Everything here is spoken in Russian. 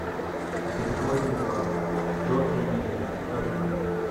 бетховен два джорджа миллера покажи мне